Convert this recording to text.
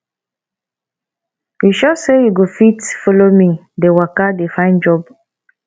you sure sey you go fit follow me dey waka dey find job